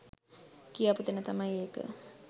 කියාපු තැන තමයි ඒක